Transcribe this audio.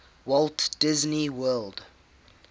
walt disney world